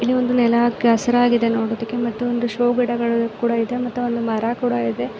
ಇಲ್ಲಿ ಒಂದು ನೆಲ ಕೆಸರಾಗಿದೆ ನೋಡೋದಿಕ್ಕೆ ಮತ್ತು ಒಂದು ಶೋ ಗಿಡಗಳು ಕೂಡ ಇದೆ ಮತ್ತು ಒಂದು ಮರ ಕೂಡ ಇದೆ.